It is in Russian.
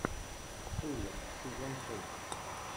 шулер сезон шесть